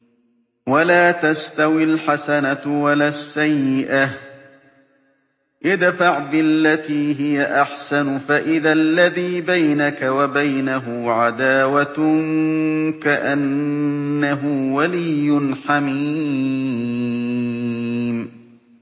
وَلَا تَسْتَوِي الْحَسَنَةُ وَلَا السَّيِّئَةُ ۚ ادْفَعْ بِالَّتِي هِيَ أَحْسَنُ فَإِذَا الَّذِي بَيْنَكَ وَبَيْنَهُ عَدَاوَةٌ كَأَنَّهُ وَلِيٌّ حَمِيمٌ